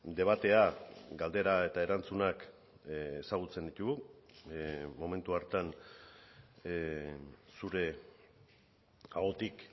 debatea galdera eta erantzunak ezagutzen ditugu momentu hartan zure ahotik